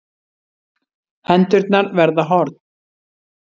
Hendurnar verða horn.